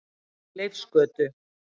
Leifsgötu